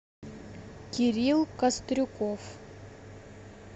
кирилл кострюков